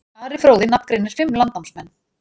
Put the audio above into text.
Ari fróði nafngreinir fimm landnámsmenn.